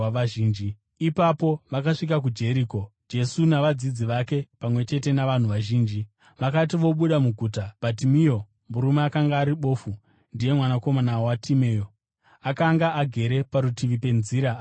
Ipapo vakasvika kuJeriko. Jesu navadzidzi vake, pamwe chete navanhu vazhinji, vakati vobuda muguta, Bhatimeo, murume akanga ari bofu, (ndiye mwanakomana waTimeo), akanga agere parutivi penzira achipemha.